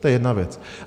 To je jedna věc.